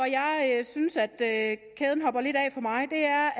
jeg synes at kæden hopper lidt af for mig er